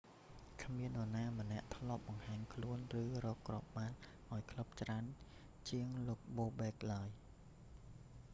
គ្មាននរណាម្នាក់ធ្លាប់បង្ហាញខ្លួន ឬរកគ្រាប់បាល់ឱ្យក្លឹបច្រើនជាងលោក bobek បូបេក ឡើយ